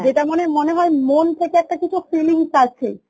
যেটা মনে মনে হয় মন থেকে একটা কিছু feelings আছে